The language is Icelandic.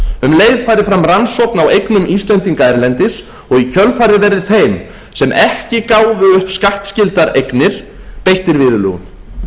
um leið fari fram rannsókn á eignum íslendinga erlendis og í kjölfarið verði þeir sem ekki gáfu upp skattskyldar eignir beittir viðurlögum